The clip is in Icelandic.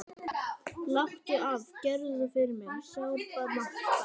Láttu af, gerðu það fyrir mig, sárbað Marta.